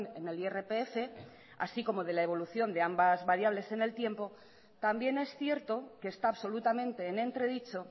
en el irpf así como de la evolución de ambas variables en el tiempo también es cierto que está absolutamente en entredicho